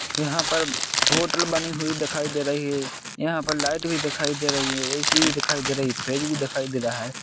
यहाँ पर होटल बनी हुई दिखाई दे रही है यहाँ पर लाईट भी दिखाई दे रही है। एसी भी दिखाई दे रही है। फ्रिज भी दिखाई दे रहा है।